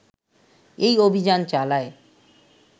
এই অভিযান চালায়